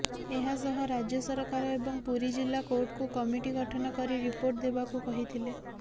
ଏହାସହ ରାଜ୍ୟ ସରକାର ଏବଂ ପୁରୀ ଜିଲ୍ଲା କୋର୍ଟକୁ କମିଟି ଗଠନ କରି ରିପୋର୍ଟ ଦେବାକୁ କହିଥିଲେ